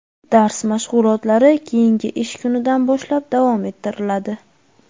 dars mashg‘ulotlari keyingi ish kunidan boshlab davom ettiriladi.